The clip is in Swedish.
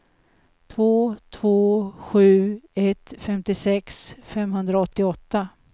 två två sju ett femtiosex femhundraåttioåtta